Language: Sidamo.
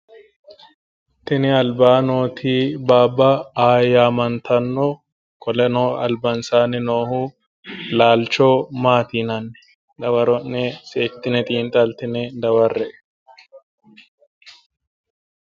Tini albaanni nooti baaba aayi yaamantanno qoleno albansaanni nooha laalcho maati yinanni? dawaro'ne seekkitine xiinxxallitine daware"e.